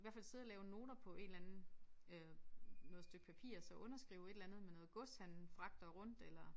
Hvert fald sidde og lave noter på en eller anden øh noget stykke papir og så underskrive et eller andet med noget gods han fragter rundt eller